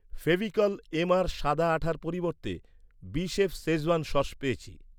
Fevicol MR সাদা আঠার পরিবর্তে, বিশেফ শেজওয়ান সস পেয়েছি।